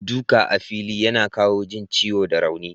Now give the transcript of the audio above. Duka a fili yana kawo jin ciwo da rauni.